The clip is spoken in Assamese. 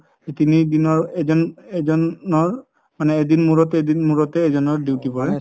তিনি দিনৰ এজন এজনৰ মানে এদিন মোৰত এদিন মোৰতে duty পৰে